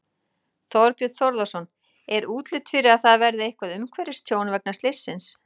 Þorbjörn Þórðarson: Er útlit fyrir að það verði eitthvað umhverfistjón vegna slyssins?